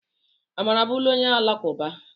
Amara abụrụla onye Alakụba